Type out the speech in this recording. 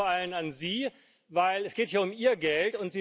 Ich richte mich vor allem an Sie, denn es geht ja um Ihr Geld.